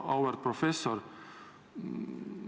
Auväärt professor!